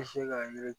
I bɛ se k'a yiri